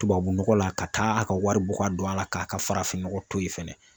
Tubabu nɔgɔ la ka taa a ka wari bɔ ka don a la k'a ka farafin nɔgɔ to yen fɛnɛ